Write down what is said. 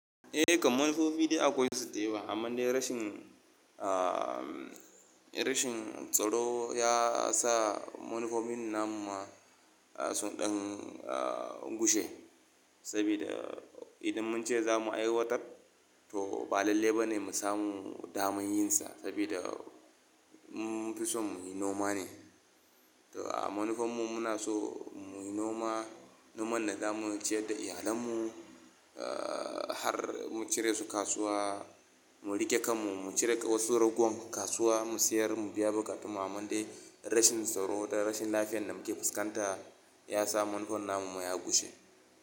Eh kam, manufofin da akwai su teba, amma dai rashin, rashin tsaro ya sa manufofin namun mu sun ɗan, gushe. Saboda idan mun ce za mu aiwatar to ba lalle ba ne mu samu damar yin sa. Saboda mu fisan mu yi noma ne. To a manufofinmu muna so mu yi noma, noman da za mu ciyar da iyalenmu, har mu cire su kasuwa, mu riƙe kanmu, mu cire wasu ragowar kasuwa mu sayar mu biya bukatu. Amma dai rashin tsaro da rashin lafiyar da muke fuskanta ya sa manufofin namun mu ya gushe.